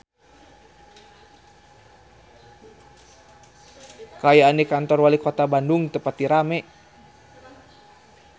Kaayaan di Kantor Walikota Bandung teu pati rame